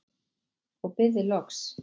og bið þig loks